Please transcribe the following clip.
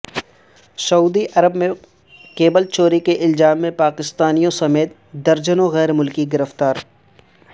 سعودی Arab میں cable چوری کے الزام میں پاکستانیوں سمیت درجنوں غیر ملکی گرفتار